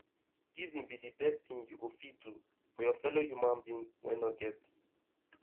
giving be the best thing you go fit do for your fellow human being wey no get